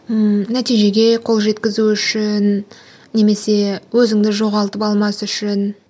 ммм нәтижеге қол жеткізу үшін немесе өзіңді жоғалтып алмас үшін